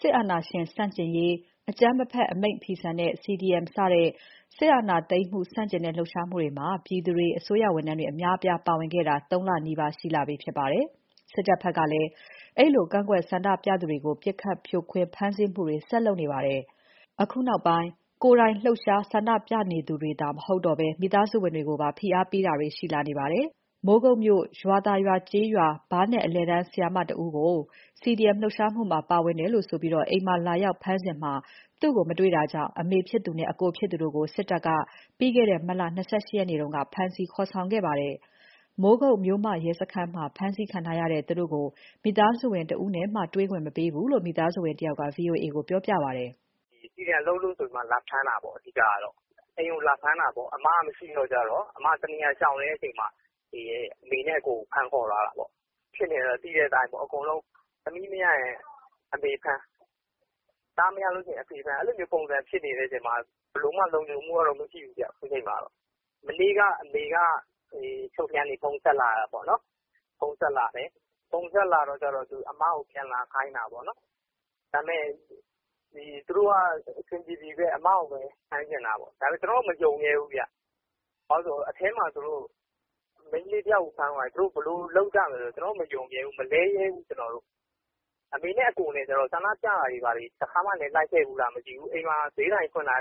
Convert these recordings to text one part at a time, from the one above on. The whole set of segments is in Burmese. စစ်အာဏာရှင် ဆန့်ကျင်ရေး၊ အကြမ်းမဖက် အမိန့်ဖီဆန်ရေး CDM စတဲ့ စစ်အာဏာသိမ်းမှု ဆန့်ကျင်တဲ့ လှုပ်ရှားမှုတွေမှာ ပြည်သူတွေ၊ အစိုးရဝန်ထမ်းတွေ အများအပြား ပါဝင်ခဲ့ကြတာ ၃ လနီးပါး ရှိလာပြီဖြစ်ပါတယ်။ စစ်တပ်ဘက်ကလည်း အဲဒီလို ကန့်ကွက်ဆန္ဒပြသူတွေကို ပစ်ခတ် ဖြိုခွင်း ဖမ်းဆီးမှုတွေ ဆက်လုပ်နေပါတယ်။ အခုနောက်ပိုင်း ကိုယ်တိုင်လှုပ်ရှားဆန္ဒပြသူတွေသာ မဟုတ်တော့ဘဲ မိသားစုဝင်တွေကိုပါ ဖိအားပေးတာတွေ လုပ်လာတာတွေ ရှိလာပါတယ်။ မိုးကုတ်မြို့ ရွာသာရွာကျေးရွာ ဘားနက် အလယ်တန်းဆရာမတဦးကို CDM ပါဝင်လှုပ်ရှားမှုမှာ ပါလို့ဆိုပြီး အိမ်မှာလာရောက် ဖမ်းဆီးစဉ် သူ့ကို မတွေ့တာကြောင့် အမေဖြစ်သူနဲ့ အကိုဖြစ်သူတို့ကို စစ်တပ်က ပြီးခဲ့တဲ့ မတ်လ ၂၈ ရက်နေ့က ဖမ်းဆီးခေါ်ဆောင်သွားခဲ့ပါတယ်။ မိုးကုတ် မြို့မရဲ့စခန်းမှာ ဖမ်းဆီးခံထားရတဲ့သူတို့ကို မိသားစုဝင် တဦးနဲ့မှ ပေးမတေ့ွဘူးလို့ မိသားစုဝင် တဦးက ဗွီအိုအေကိုပြောပါတယ်။ "CDM လုပ်လို့ဆိုပြီး လာဖမ်းတာပေါ့အဓိကကတော့။ အိမ်ကိုလာဖမ်းတာပေါ့။ အမကမရှိတော့ အမကရှောင်နေတော့ လာဖမ်း ချိန်မတွေ့လို့ အမေနဲ့ အကိုကို လာဖမ်းသွားတာပေါ့။ ဖြစ်နေတာသိတဲ့အတိုင်း သမီးမရရင် အမေဖမ်း၊ သားမရရင် အဖေဖမ်း အဲဒီလိုဖြစ်နေချိန်မှာ ဘယ်လိုမှတော့ လုံခြုံမှုကတော့ မရှိဘူးဗျ ခုချိန်မှာ။ မနေ့ကအမေက အချုပ်ကနေ ဖုန်းဆက်တယ်။ အမကိုပြန်လာခိုင်းတယ်။ ဒါပေမဲ့ သူတို့က အဆင်ပြေပြေပဲ အမကို ဖမ်းချင်တာ။ ကျနော်တို့ကတော့ မယုံရဲဘူး။ အထဲမှာ မိန်းကလေးတယောက်ကို ဘယ်လိုလုပ်ရမလဲ။ ကျနော်က မယုံရဲဘူး၊ မလဲရဲဘူး။ အမေနဲ့ အကိုက ဆန္ဒပြတာလည်းမရှိဘူး။ အိမ်မှာဈေးဆိုင်မှာ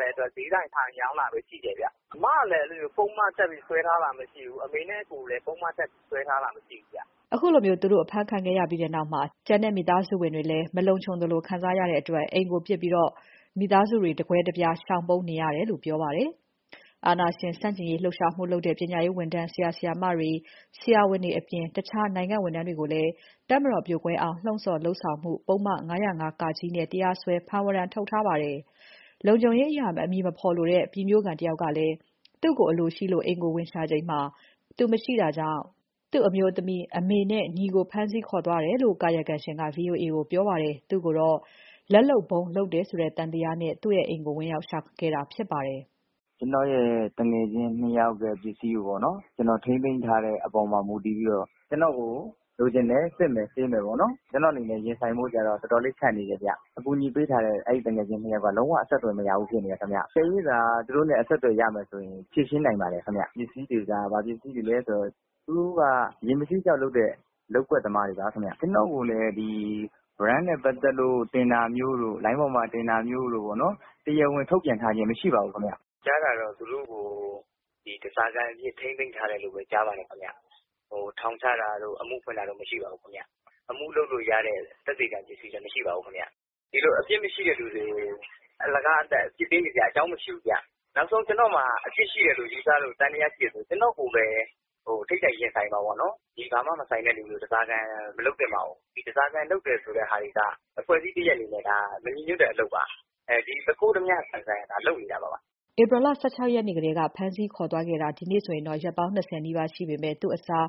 ထိုင်ရောင်းတာပဲ ရှိတယ်။ အမကလည်း ပုဒ်မတပ်ပြီး စွဲထားတာမရှိဘူး။ အမေနဲ့ အကိုကိုလည်း ပုဒ်မတပ် စွဲထားတာမရှိဘူး။" ခုလို သူတို့ အဖမ်းခံခဲ့ရပြီးနောက် ကျန်မိသားစုဝင်တွေမှာလည်း မလုံခြုံသလို ခံစားရတဲ့အတွက် အိမ်ကို ပစ်ကာ မိသားစုဝင်တွေ တကွဲတပြား ရှောင်ပုန်းနေရတယ်လို့ ပြောပါတယ်။ အာဏာရှင်ဆန့်ကျင်ရေး လှုပ်ရှားမှုလုပ်တဲ့ ပညာရေးဝန်ထမ်း ဆရာ၊ ဆရာမတွေ၊ ဆရာဝန်တွေအပြင် တခြားနိုင်ငံဝန်ထမ်းတွေကိုလည်း တပ်မတော်ပြိုကွဲအောင် လှုံ့ဆော် လုပ်ဆောင်မှု ပုဒ်မ ၅၀၅-က နဲ့ တရားစွဲ ဖမ်းဝရမ်းထုတ်ထားပါတယ်။ လုံခြုံရေးအရ အမည်မဖော်လိုတဲ့ ပြည်မြို့ခံတဦးကလည်း သူ့ကို အလိုရှိလို့ အိမ်ကို ဝင်ရှာချိန် သူရှိ မနေတာကြောင့် သူ့အမျိုးသမီး၊ အမေနဲ့ ညီကို ဖမ်းခေါ် သွားခဲ့တယ်လို့ ကာယကံရှင်က ဗွီအိုအေကိုပြောပါတယ်။ သူ့ကိုတော့ လက်လုပ်ဗုံး လုပ်တယ်ဆိုတဲ့ သံသယနဲ့ သူ့အိမ်ကိုဝင်ရောက်ရှာခဲ့တာဖြစ်ပါတယ်။ "ကျနော်ရဲ့ သူငယ်ချင်း နှစ်ယောက်ရဲ့ပစ္စည်းကို ကျနော် ထိန်းသိမ်းထားတဲ့အပေါ်မှာ မူတည်ပြီးတော့ ကျနော်ကို လိုချင်တယ်။ စစ်မယ်၊ ဆေးမယ်။ ကျနော်အနေနဲ့ ရင်ဆိုင်ဖို့က တော်တော်လေး ခက်နေတယ်။ အကူညီပေးထားတဲ့ အဲဒီ သူငယ်ချင်းနှစ်ယောက်က အဆက်သွယ်မရဘူး ဖြစ်နေတယ်ခင်ဗျ။ သူတို့နဲ့ အဆက်အသွယ်ရမယ်ဆိုရင် ဖြေရှင်းနိုင်ပါတယ်ခင်ဗျ။ ဘာပစ္စည်းလဲဆိုတော့ သူတို့တွေက ရေမဆေးကျောက် လုပ်တဲ့ လုပ်ကွက်သမားတွေပါခင်ဗျ။ ကျနော့်ကိုလည်း ဝရမ်းနဲ့ ပက်သတ်လို့ တင်တာမျိုးတို့၊ လိုင်းပေါ်မှာ တင်တာမျိုးတို့ တရားဝင်ထုတ်ပြန်ထားခြင်းမရှိပါဘူး ခင်ဗျ။ ကျနော်ကြားတာကတော့ သူတို့ကို ဓားစာခံအဖြစ် ထိန်းသိမ်းထားတယ်လို့ ကြားပါတယ်။ ထောင်ချတာတို့၊ အမှုဖွင့်တာတို့ မရှိပါဘူး။ အမှုလုပ်လို့ရတဲ့ သက်သေခံ ပစ္စည်းလည်း မရှိပါဘူး။ ဒီလို အပြစ်မရှိသူတွေကို အလကားသပ်သပ် အပြစ်ပေးနေစရာအကြောင်းမရှိဘူး။ နောက်ဆုံး ကျနော်မှာ အပြစ်ရှိတယ်လို့ ယူဆလို့ သံသယရှိတယ်ဆို ကျနော်ကိုပဲ ထိပ်တိုက်ရင်ဆိုင်ပါ။ ဒီဘာမှမဆိုင်သူတွေကို ဓားစာခံ မလုပ်သင့်ပါဘူး။ ဓားစာခံ လုပ်တာကအဖွဲ့တခုအနေနဲ့ မညီညွှတ်တဲ့ အလုပ်ပါ။ သူခိုး၊ ဓါးပြပုံစံ လုပ်နေတာပါ။" ဧပြီ ၁၆ ရက်ကတည်းက ဖမ်းဆီးခေါ်ဆောင်သွားခဲ့တာ ဒီနေ့နဲ့ဆို ရက်ပေါင်း ၂၀ နီးပါးရှိနေပေမဲ့ သူ့အစား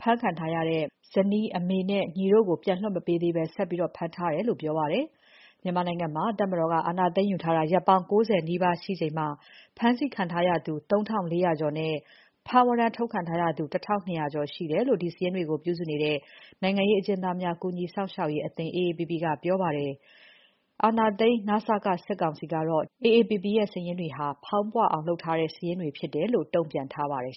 ဖမ်းခံထားရတဲ့ မိန်းမ၊ အမေနဲ့ ညီတို့ကို ပြန်မလွှတ်ပေးသေးဘဲ ဆက်ဖမ်းထားတယ်လို့ပြောပါတယ်။ မြန်မာနိုင်ငံမှာ တပ်မတော်က အာဏာသိမ်းယူထားတာ ရက်ပေါင်း ၉၀ နီးပါးရှိချိန်မှာ ဖမ်းဆီးခံထားရသူ ၃,၄၀၀ ကျော်နဲ့ ဖမ်းဝရမ်း ထုတ်ခံထားရသူ ၁,၂၀၀ ကျော်ရှိတယ်လို့ ဒီစာရင်းတွေကို ပြုစုနေတဲ့ နိုင်ငံရေးအကျဉ်းသားများ ကူညီရေးအသင်း AAPP ကပြောပါတယ်။ အာဏာသိမ်း န.စ.က စစ်ကောင်စီကတော့ ဒီစာရင်းတွေဟာ ဖောင်းပွအောင်လုပ်ထားတဲ့ စာရင်းဖြစ်တယ်လို့ တုံ့ပြန်ထားပါတယ်